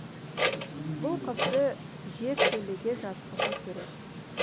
бұл қызды жертөлеге жатқызу керек